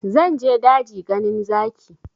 Zan je daji ganin zaki